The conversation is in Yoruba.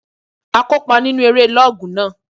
A kópa nínu eré lọ́ọ̀gù náà